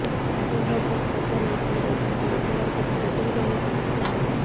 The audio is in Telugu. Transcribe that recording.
సంతోష్ బాబుకు కడసారి వీడ్కోలు పలికేందుకు వచ్చే వారి కోసం ప్రత్యేక చర్యలు తీసుకొంటున్నారు